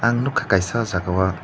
ang nugkha kaisa aw jaaga o.